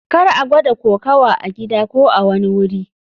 Kar a gwada kokawa a gida ko a kowane wuri.